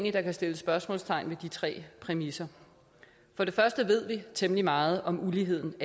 at der kan sættes spørgsmålstegn ved de tre præmisser for det første ved vi temmelig meget om uligheden